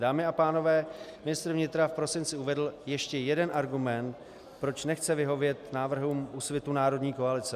Dámy a pánové, ministr vnitra v prosinci uvedl ještě jeden argument, proč nechce vyhovět návrhům Úsvitu - národní koalice.